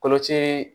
Koloci